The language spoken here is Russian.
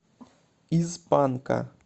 из панка